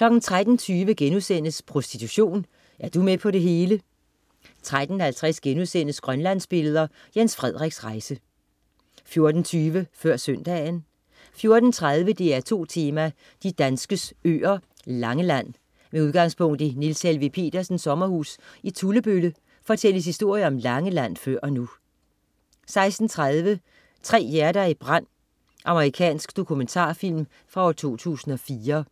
13.20 Prostitution, er du med på det hele?* 13.50 Grønlandsbilleder, Jens Frederiks rejse* 14.20 Før Søndagen 14.30 DR2 Tema: De danskes øer, Langeland. Med udgangspunkt i Niels Helveg Petersens sommerhus i Tullebølle fortælles historier om Langeland før og nu 16.30 Tre hjerter i brand. Amerikansk dokumentarfilm fra 2004